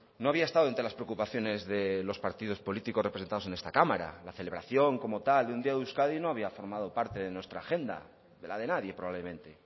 no había estado entre las preocupaciones de los partidos políticos representados en esta cámara la celebración como tal de un día de euskadi no había formado parte de nuestra agenda de la de nadie probablemente